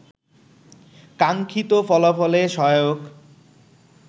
কাঙ্ক্ষিত ফলাফলে সহায়ক